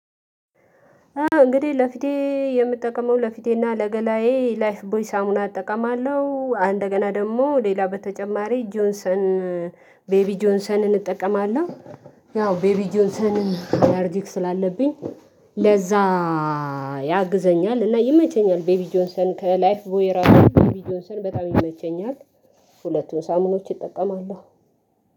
እንግዲህ ለፊቴ የምጠቀመው ለፊቴና ለገላዬ ላይፍ ቦይ ሳሙና እጠቀማለሁ እንደገና ደግሞ ሌላ በተጨማሪ ጆንሰን ቤቢ ጆንሰንን እጠቀማለሁ። ያው ቤቢ ጆንሰንን አላርጂክ ስላለብኝ ለዛ ያግዘኛል እና ይመቸኛል። ቤቢ ጆንሰን ከላይፍ ቮይ እራሱ ቤቢ ጆንሰን በጣም ይመቸኛል። ሁለቱን ሳሙኖች እጠቀማለሁ።